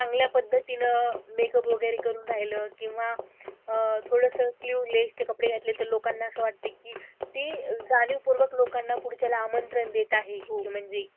चांगल्या पद्धतीने make up वैगरे करून राहील किंवा अह थोडस sleeveless चे कपडे घातले तर लोकांना असं वाटत कि ती जाणीव पूर्वक लोकांना पुढच्याला आमंत्रण देत आहे कि म्हणजे,